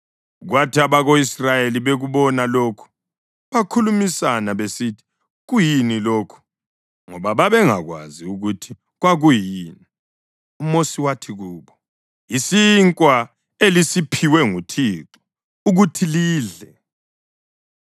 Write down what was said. Kwathi abako-Israyeli bekubona lokhu bakhulumisana besithi, “Kuyini lokhu?” Ngoba babengakwazi ukuthi kwakuyini. UMosi wathi kubo, “Yisinkwa elisiphiwe nguThixo ukuthi lidle.